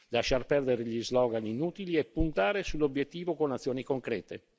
Lasciar perdere gli slogan inutili e puntare sull'obiettivo con azioni concrete.